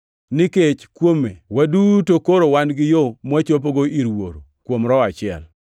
Nikech kuome waduto koro wan gi yo mwachopogo ir Wuoro, kuom Roho achiel.